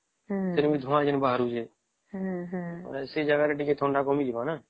ଫେର ବି ଧୁଆଂ ବି ଯୋଉ ବାହାରୁଚି ସେଇ ଜାଗା ରେ ଥଣ୍ଡା ଟିକେ କମିଯିବ ନ